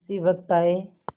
उसी वक्त आये